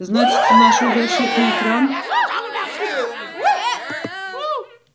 значится ношу защитный экран